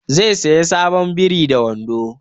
Zai saya sabon biri da wando